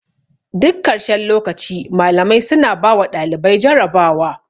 Duk karshen lokaci malamai suna bawa ɗalibai jarabawa.